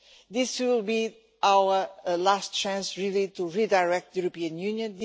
This will be our last chance to redirect the European Union.